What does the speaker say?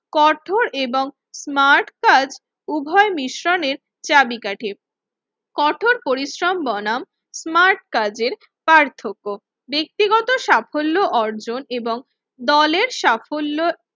কঠোর এবং স্মার্ট কাজ উভয় মিশ্রণের চাবিকাঠি। কঠোর পরিশ্রম বনাম স্মার্ট কাজের পার্থক্য, ব্যক্তিগত সাফল্য অর্জন এবং দলের সাফল্য